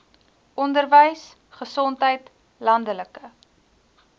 onderwys gesondheid landelike